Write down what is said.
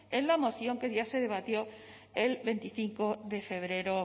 en la moción que ya se debatió el veinticinco de febrero